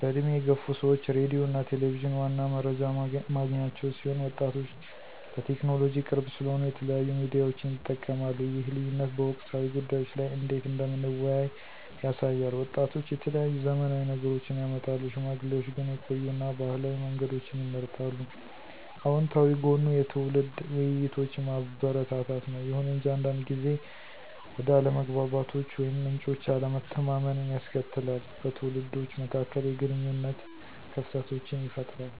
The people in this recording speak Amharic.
በእድሜ የገፉ ሰዎች ሬዲዮ እና ቴሌቪዠን ዋና መረጃ ማግኛቸው ሲሆን ወጣቶች ለቴክኖሎጂ ቅርብ ስለሆኑ የተለያዩ ሚዲያዎችን ይጠቀማሉ ይህ ልዩነት በወቅታዊ ጉዳዮች ላይ እንዴት እንደምንወያይ ያሳያል። ወጣቶች የተለያዩ ዘመናዊ ነገሮችን ያመጣሉ፣ ሽማግሌዎች ግን የቆዩ እና ባህላዊ መንገዶችን ይመርጣሉ። አወንታዊ ጎኑ የትውልድ ውይይቶችን ማበረታታት ነው። ይሁን እንጂ አንዳንድ ጊዜ ወደ አለመግባባቶች ወይም ምንጮች አለመተማመንን ያስከትላል, በትውልዶች መካከል የግንኙነት ክፍተቶችን ይፈጥራል።